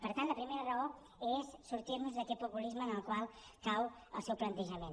per tant la primera raó és sortir nos d’aquest populisme en el qual cau el seu plantejament